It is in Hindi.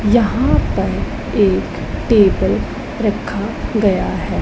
यहां पर एक टेबल रखा गया है।